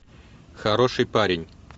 хороший парень